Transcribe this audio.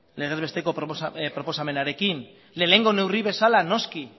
legez besteko proposamenarekin lehenengo neurri bezala noski